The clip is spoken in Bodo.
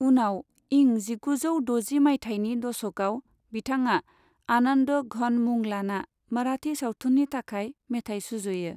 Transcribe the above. उनाव इं जिगुजौ द'जि मायथाइनि दशकआव बिथाङा आनन्द घन मुं लाना मराठी सावथुननि थाखाय मेथाइ सुजुयो।